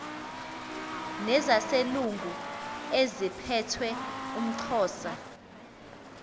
nezaselungu eziphethe umxhosa